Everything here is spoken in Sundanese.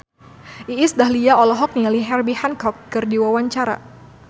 Iis Dahlia olohok ningali Herbie Hancock keur diwawancara